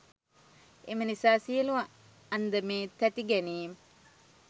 එම නිසා සියලු අන්දමේ තැතිගැනීම්,